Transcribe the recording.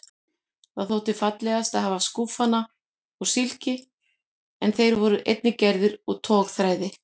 Það þótti fallegast að hafa skúfana úr silki en þeir voru einnig gerðir úr togþræði.